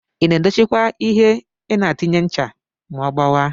Ina edocchi kwa ihe inatinye ncha ma ogbawa?